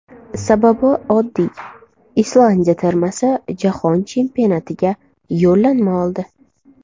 Sababi oddiy, Islandiya termasi Jahon Chempionatiga yo‘llanma oldi.